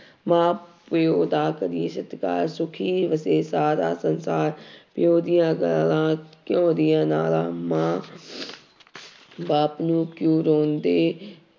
ਮਾਂ ਪਿਓ ਦਾ ਕਰੀਏ ਸਤਿਕਾਰ ਸੁੱਖੀ ਵਸੇ ਸਾਰਾ ਸੰਸਾਰ ਪਿਓ ਦੀਆਂ ਗਾਲਾਂ ਘਿਓ ਦੀ ਲਾਲਾਂ ਮਾਂ ਬਾਪ ਨੂੰ ਕਿਉਂ ਰੋਂਦੇ